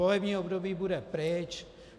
Volební období bude pryč.